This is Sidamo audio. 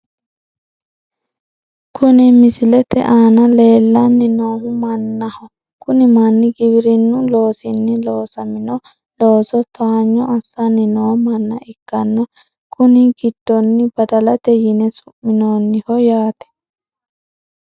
Kuni misilete aana leellanni noohu mannaho kuni manni giwirinnu loosinni loosamino looso towaayyo assanni noo manna ikkanna , kuni gidino badalate yine su'minoonniho yaate.